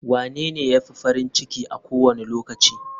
Wanene ya fi farin ciki a kowane lokaci?